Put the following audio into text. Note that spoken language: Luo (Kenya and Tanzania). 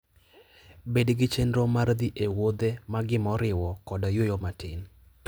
Bed gi chenro mar dhi e wuodhe magi moriwo koda yueyo matin.